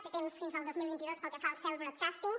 té temps fins al dos mil vint dos pel que fa al cell broadcasting